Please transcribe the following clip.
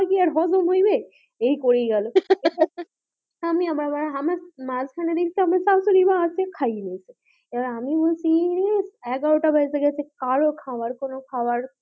খাবার কি আর হজম হইবে? এই করেই গেল আমি আবার আমি মাঝখানের দিকটা আমার শাশুড়িমা আছে খেয়ে নিয়েছে এইবার আমি বলছি এই রে এগারোটা বেজে গেছে কারো খাওয়ার কোনো খাওয়ার,